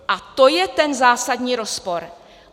A to je ten zásadní rozpor.